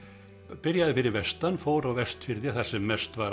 byrjaði fyrir vestan fór á Vestfirði þar sem mest var